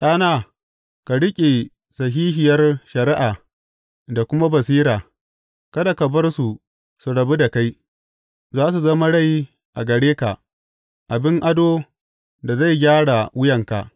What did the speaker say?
Ɗana, ka riƙe sahihiyar shari’a da kuma basira, kada ka bar su su rabu da kai; za su zama rai a gare ka, abin adon da zai gyara wuyanka.